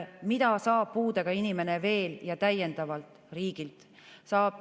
Mida saab puudega inimene veel, täiendavalt riigilt?